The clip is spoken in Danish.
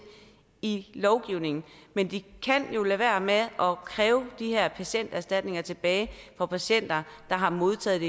i lovgivningen men de kan jo lade være med at kræve de her patienterstatninger tilbage fra patienter der har modtaget